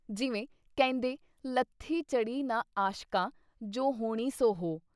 ਜਿਵੇਂ ਕਹਿੰਦੇ- ਲੱਥੀ ਚੜ੍ਹੀ ਨਾ ਆਸ਼ਕਾਂ, ਜੋ ਹੋਣੀ ਸੋ ਹੋ।"